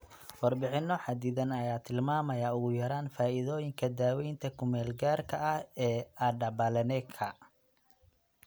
Warbixino xaddidan ayaa tilmaamaya ugu yaraan faa'iidooyinka daweynta ku-meel-gaarka ah ee adapaleneka.